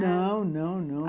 Não, não, não.